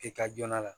E ka joona